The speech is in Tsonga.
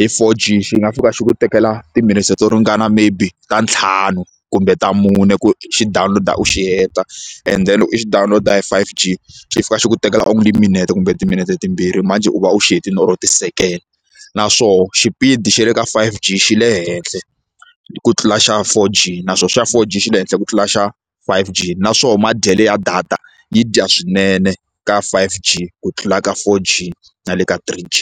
hi four G xi nga fika xi ku tekela timinetse to ringana maybe ta ntlhanu kumbe ta mune ku xi download-a u xi heta and then loko i xi download hi five G xi fika xi ku tekela only minete kumbe timinete timbirhi manjhe u va u xi hetile or ti-second naswoho xipidi xa le ka five G xi le henhle ku tlula xa four G naswoho xa four G xi le henhla ku tlula xa five G naswoho madyele ya data yi dya swinene ka five G ku tlula ka four G na le ka three G.